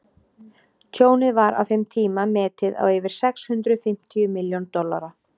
tjónið var á þeim tíma metið á yfir sex hundruð fimmtíu milljón dollara